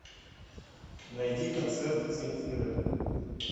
найди концерт земфиры